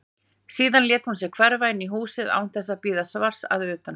Síðan lét hún sig hverfa inn í húsið án þess að bíða svars að utan.